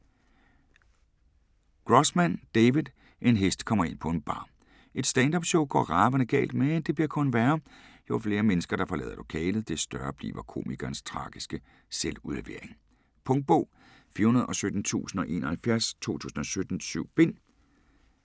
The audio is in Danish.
Grossman, David: En hest kommer ind på en bar Et stand-up show går ravende galt, men det bliver kun værre. Jo flere mennesker der forlader lokalet, des større bliver komikerens tragiske selvudlevering. Punktbog 417071 2017. 7 bind.